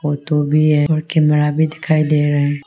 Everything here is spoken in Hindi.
तो भी है और कैमरा भी दिखाई दे रहा है।